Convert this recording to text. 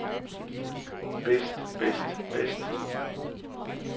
bedst bedst bedst